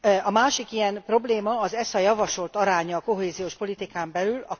A másik ilyen probléma, az ESZA javasolt aránya a kohéziós politikán belül.